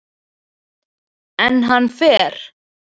En hann fer.